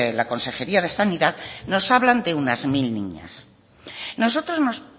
la consejería de sanidad nos hablan de unas mil niñas nosotros nos